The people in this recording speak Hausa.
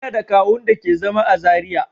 Ina da kawu'n da ke zama à Zaria.